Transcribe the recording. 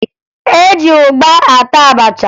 E ji ụgba ata abacha